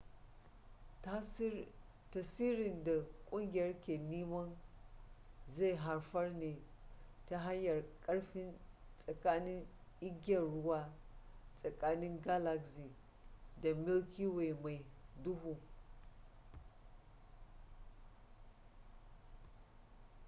tasirin da ƙungiyar ke nema zai haifar ne ta hanyar karfi tsakanin igiyar ruwa tsakanin galaxy da milky way mai duhu